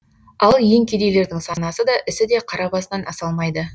ал ең кедейлердің санасы да ісі де қара басынан аса алмайды